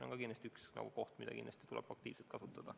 See on kindlasti võimalus, mida tuleb aktiivselt kasutada.